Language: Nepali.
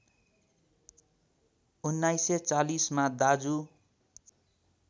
१९४० मा दाजु